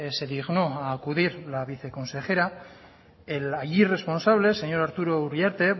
se dignó a acudir la viceconsejera el allí responsable señor arturo uriarte